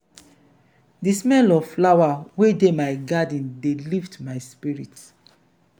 di smell of flower wey dey my garden dey lift my spirit.